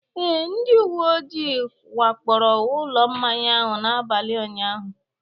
Ee, ndị uwe ojii wakporo ụlọ mmanya ahụ n'abalị ụnyahụ